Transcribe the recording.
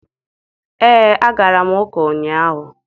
Ee, agara m ụka ụnyahụ.